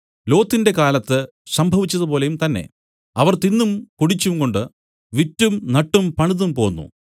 ലോത്തിന്റെ കാലത്ത് സംഭവിച്ചതുപോലെയും തന്നേ അവർ തിന്നും കുടിച്ചുംകൊണ്ടും വിറ്റും നട്ടും പണിതും പോന്നു